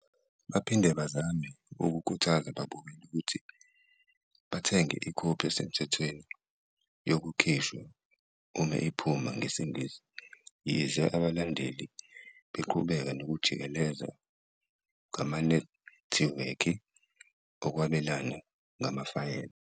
Baphinde bazame ukukhuthaza ababukeli ukuthi bathenge ikhophi esemthethweni yokukhishwa uma iphuma ngesiNgisi, yize abalandeli abalandeli beqhubeka nokujikeleza ngamanethiwekhi okwabelana ngamafayela.